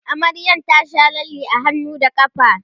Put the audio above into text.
amaryar ta Sha lalle a hannu da ƙafa